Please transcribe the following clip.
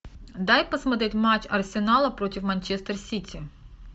дай посмотреть матч арсенала против манчестер сити